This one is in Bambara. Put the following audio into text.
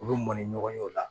U bɛ mɔn ni ɲɔgɔn ye o la